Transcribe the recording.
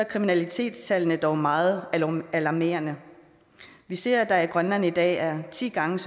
kriminalitetstallene dog meget alarmerende vi ser at der i grønland i dag er ti gange